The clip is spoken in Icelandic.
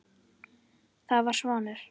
Það var Svanur.